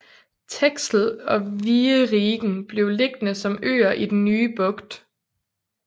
Texel og Wieringen blev liggende som øer i den nye bugt